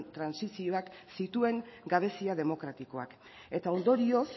trantsizioak zituen gabezia demokratikoak eta ondorioz